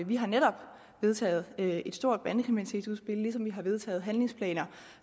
vi har netop vedtaget et et stort bandekriminalitetsudspil ligesom vi har vedtaget handlingsplaner